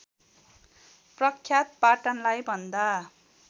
प्रख्यात पाटनलाई भन्दा